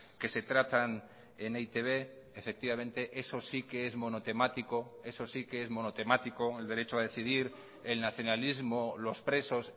que se tratan en e i te be efectivamente eso sí que es monotemático eso sí que es monotemático el derecho a decidir el nacionalismo los presos